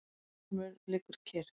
Vilhjálmur liggur kyrr.